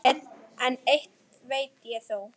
En eitt veit ég þó.